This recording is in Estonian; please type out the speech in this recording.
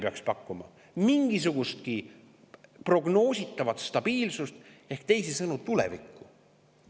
Peaks pakkuma mingisugustki prognoositavat stabiilsust, teisisõnu tulevikku.